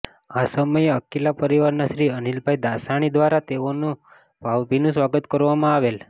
આ સમયે અકિલા પરિવારના શ્રી અનિલભાઈ દાસાણી દ્વારા તેઓનું ભાવભીનું સ્વાગત કરવામાં આવેલ